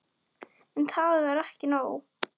En það var ekki nóg.